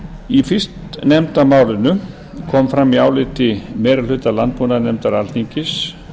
í fyrstnefnda málinu kom fram í áliti meiri hluta landbúnaðarnefndar alþingis